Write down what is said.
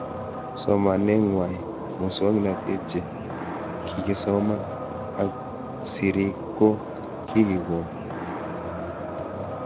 Somanet ng'wai, muswognatet che kikesoman ak sirik ko kikikon